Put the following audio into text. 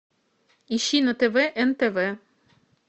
ищи на тв нтв